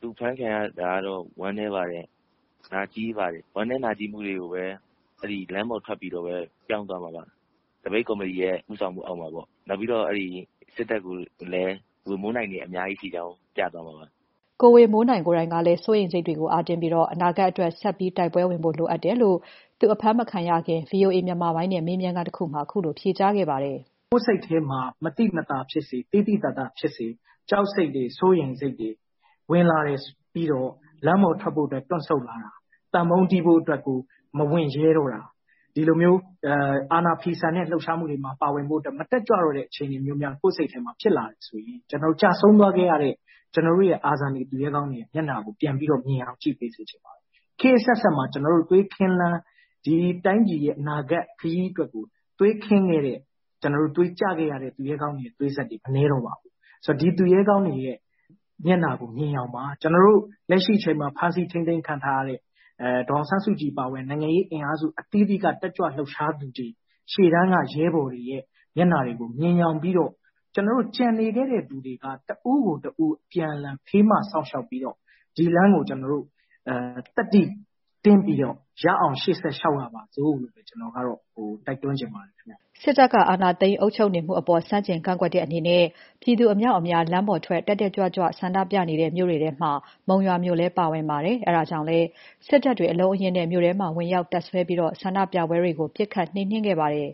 သူဖမ်းခံရတာ ဝမ်းနည်းပါတယ်။ နာကျဉ်းပါတယ်။ ဝမ်းနည်းနာကျဉ်းမှုတွေကို လမ်းပေါ်ထွက် ပြောင်းမှာပါ။ သပိတ်ကော်မတီရဲ့ ဦးဆောင်မှုအောက်မှာပေါ့ နောက်ပြီးတော့ စစ်တပ်ကိုလည်း ဝေမိုးနိုင်တွေ အများကြီးရှိတာပြမှာပါ" ကိုဝေမိုးနိုင်ကိုယ်တိုင်ကလည်း စိုးရိမ်စိတ်တွေကို အားတင်းပြီး အနာဂါတ်အတွက် ဆက်တိုက်ပွဲဝင်ဖို့လိုတယ်လို့ သူအဖမ်းမခံရခင် ဗွီအိုအေမြန်မာပိုင်းနဲ့ ဆွေးနွေးခန်းမှာ ခုလို ဖြေကြားခဲ့ပါတယ်။ "ကိုယ်စိတ်ထဲမှာ မသိမသာဖြစ်စေ သိသိသာသာဖြစ်စေ ဝင်လာတယ်ဆိုရင် လမ်းပေါ်ထွက်ဖို့အတွက် တွန့်ဆုတ်လာတာ၊ သံပုံးတီးဖို့မဝံရဲတော့တာ၊ ဒီလိုမျိုးအာဏာဖိဆန်ရေးလုပ်ဖို့ မတက်ကြွတဲ့အခြေအနေဖြစ်လာပြီဆိုရင် ကျဆုံးသွားခဲ့တဲ့ ကျနော်တို့ရဲ့ သူရဲကောင်းတွေမျက်နှာကို မြင်အောင်ကြည့်ပေးစေချင်တယ်။ ခောတ်အဆက်ဆက်မှာ သွေးခင်းလမ်း သွေးကျခဲ့တဲ့ သူရဲကောင်းတွေ မနည်းတော့ပါဘူး။ ဒီသူရဲကောင်းတွေမျက်နှာကိုမြင်ယောင်ပါ။ လက်ရှိထိန်းသိမ်းခံနေရတဲ့ ဒေါ်အောင်ဆန်းစုကြည်အပါအဝင် နိုင်ငံရေးအင်အားစုအသီးသီးက တက်ကြွလှုပ်ရှားသူတွေ ရှေ့တန်းက ရဲဘော်တွေမျက်နှာတွေကို မြင်ယောင်ပြီးတော့ ကျနော်တို့ ကျန်နေသေးတဲ့သူတွေက တဦးကိုတဦး အပြန်အလှန် ဖေးမစောင့်ရှောက်ပြီးတော့ ဒီလမ်းကို ကျနော်တို့ သတ္တိတင်းပြီးတော့ ရအောင်ရှေ့ဆက်လျှောက်ကြပါစို့လို့ ကျနော်က တိုက်တွန်းချင်ပါတယ်။ " စစ်တပ်က အာဏာသိမ်းအုပ်ချုပ်နေမှုအပေါ် ဆန့်ကျင်ကန့်ကွက်တဲ့အနေနဲ့ ပြည်သူအမြောက်အများ လမ်းပေါ်ထွက် တက်တက်ကြွကြွ ဆန္ဒပြနေတဲ့မြို့တွေထဲမှာ မုံရွာမြို့လည်း ပါဝင်ပါတယ်။ အဲဒါကြောင့်လည်း စစ်တပ်တွေ အလုံးအရင်းနဲ့ မြို့ထဲမှာ ဝင်ရောက် တပ်စွဲပြီး ဆန္ဒပြပွဲတွေကို ပစ်ခတ် နှိမ်နှင်းခဲ့ပါတယ်